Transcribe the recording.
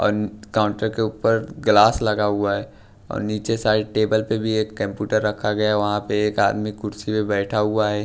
और काउंटर के ऊपर ग्लास लगा हुआ है नीचे साइड टेबल पे भी एक कंप्यूटर रखा गया है वहां पे एक आदमी कुर्सी में बैठा हुआ है।